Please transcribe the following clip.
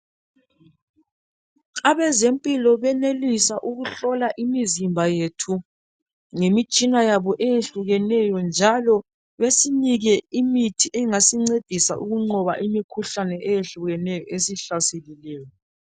Abezempilo benelisa ukuhlola imizimba yethu ngemitshina yabo eyehlukeneyo njalo besinike imithi engasincedisa ukunqoba imikhuhlane eyehlukeneyo esihlaselileyo.